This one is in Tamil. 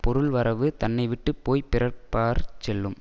பொருள்வரவு தன்னைவிட்டுப் போய் பிறர்பாற் செல்லும்